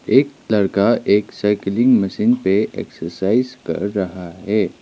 एक लड़का एक साइकलिंग मशीन पे एक्सरसाइज कर रहा है।